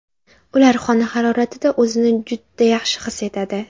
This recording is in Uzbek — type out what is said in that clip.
Ular xona haroratida o‘zini juda yaxshi his etadi.